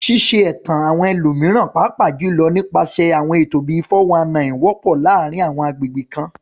Ṣíṣe ẹ̀tàn àwọn ẹlòmíràn, pàápàá jùlọ nípasẹ̀ àwọn ètò bíi "419," wọ́pọ̀ ní àwọn agbègbè kan.